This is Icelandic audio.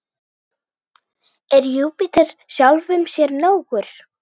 Er Júpíter sjálfum sér nógur?